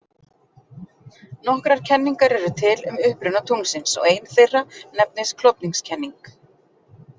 Nokkrar kenningar eru til um uppruna tunglsins og ein þeirra nefnist klofningskenning.